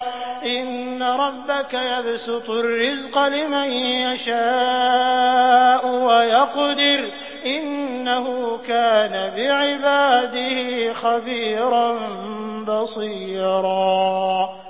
إِنَّ رَبَّكَ يَبْسُطُ الرِّزْقَ لِمَن يَشَاءُ وَيَقْدِرُ ۚ إِنَّهُ كَانَ بِعِبَادِهِ خَبِيرًا بَصِيرًا